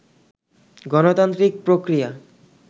গণতান্ত্রিক প্রক্রিয়া